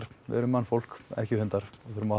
við erum mannfólk ekki hundar og þurfum að